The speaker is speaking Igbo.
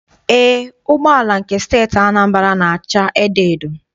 Eé, ụgbọala nke Steeti Anambra na- acha edoedo.